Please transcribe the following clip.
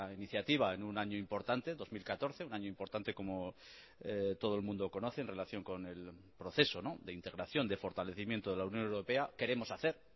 iniciativa en un año importante dos mil catorce un año importante como todo el mundo conoce en relación con el proceso de integración de fortalecimiento de la unión europea queremos hacer